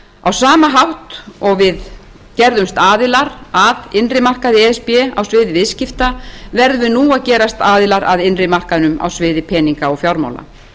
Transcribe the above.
á sama hátt og við gerðumst aðilar að innri markaði e s b á sviði viðskipta verðum við nú að gerast aðilar að innri markaðnum á sviði peninga og fjármála